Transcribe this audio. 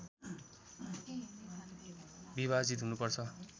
विभाजित हुनुपर्छ